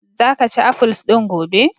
Za ka ci afuls din gobe!